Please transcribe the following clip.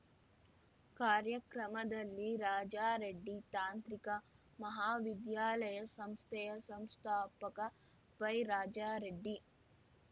ಕಾರ್ಯಕ್ರಮದಲ್ಲಿ ರಾಜಾರೆಡ್ಡಿ ತಾಂತ್ರಿಕ ಮಹಾವಿದ್ಯಾಲಯ ಸಂಸ್ಥೆಯ ಸಂಸ್ಥಾಪಕ ವೈರಾಜರೆಡ್ಡಿ